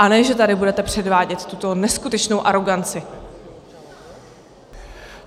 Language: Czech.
A ne že tady budete předvádět tuto neskutečnou aroganci.